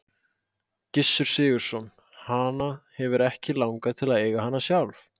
Gissur Sigurðsson: Hana hefur ekki langað til að eiga hana sjálf?